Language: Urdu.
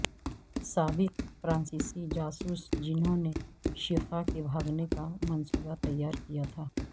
سابق فرانسیسی جاسوس جنھوں نے شیخہ کے بھاگنے کا منصوبہ تیار کیا تھا